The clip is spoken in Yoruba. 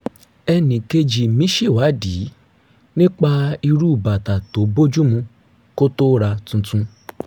e̩nìkejì mi ṣèwádìí nípa irú bàtà tó bójú mu kó tó ra tuntun